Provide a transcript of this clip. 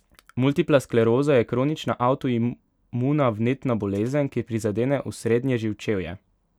Multipla skleroza je kronična avtoimuna vnetna bolezen, ki prizadene osrednje živčevje.